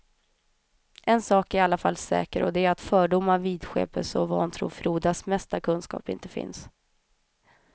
En sak är i alla fall säker och det är att fördomar, vidskepelse och vantro frodas mest där kunskap inte finns.